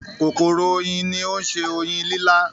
“kòkòrò oyin” ni ó ń se oyin lílá.